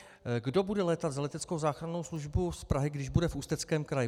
Kdo bude létat za leteckou záchrannou službu z Prahy, když bude v Ústeckém kraji?